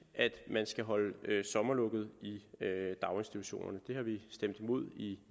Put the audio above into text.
at man skal holde sommerlukket i daginstitutionerne det har vi stemt imod i